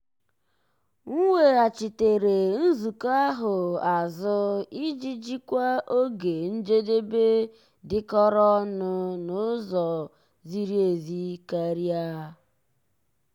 m weghachitere nzukọ ahụ azụ iji jikwaa oge njedebe dịkọrọ onụ n'ụzọ ziri ezi karịa.